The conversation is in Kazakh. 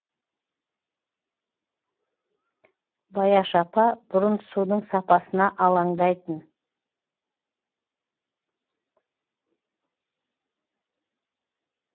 баяш апа бұрын судың сапасына алаңдайтын